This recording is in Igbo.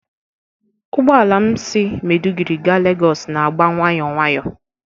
Ụgbọ ala m si Maiduguri gaa lagos n'agba nwayọọ nwayọọ.